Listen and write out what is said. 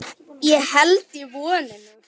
Ég held í vonina.